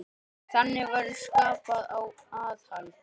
Þannig verður skapað aðhald.